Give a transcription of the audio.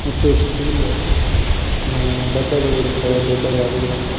ಮತ್ತು ಸ್ಟೀಲು ಅ ಡಬ್ಬೆಗಳಿರುತ್ತವೆ ದೊಡ್ಡದಾಗಿರುವಂತ.